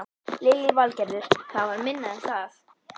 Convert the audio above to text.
Lillý Valgerður: Það var minna en það?